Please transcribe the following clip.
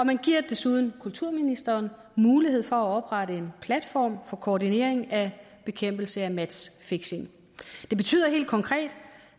man giver desuden kulturministeren mulighed for at oprette en platform for koordinering af bekæmpelse af matchfixing det betyder helt konkret